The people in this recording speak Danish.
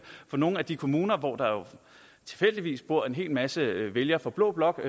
få nogle af de kommuner hvor der tilfældigvis bor en hel masse vælgere fra blå blok